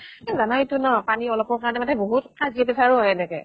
জানাই টো না পানী অলপৰ কাৰণে বহুত কাজিয়া পেচালো হয় এনেকে।